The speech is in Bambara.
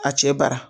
A cɛ bara